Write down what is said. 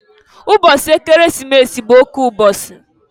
Mbọsị Ekeresimesi bụ oke ụbọsị.